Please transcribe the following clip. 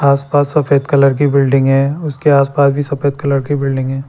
आस पास सफेद कलर की बिल्डिंग है उसके आस पास भी सफेद कलर की बिल्डिंग है।